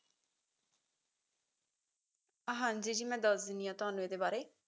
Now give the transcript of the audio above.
ਹਾਂਜੀ ਜੀ ਮੈਂ ਦੱਸ ਦੇਣੀ ਆ ਤੁਹਾਨੂੰ ਇਹਦੇ ਬਾਰੇ